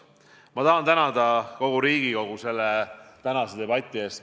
Ma tahan tänada kogu Riigikogu tänase debati eest.